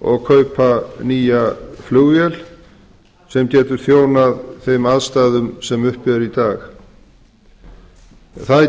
og kaupa nýja flugvél sem getur þjónað þeim aðstæðum sem uppi eru í dag það